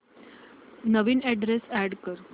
नवीन address add कर